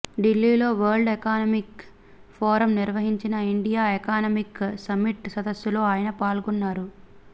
ఢిల్లీలో World Economic Forum నిర్వహించిన India Economic Summit సదస్సులో ఆయన పాల్గొన్నారు